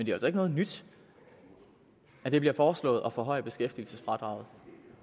jo altså ikke noget nyt at det bliver foreslået at forhøje beskæftigelsesfradraget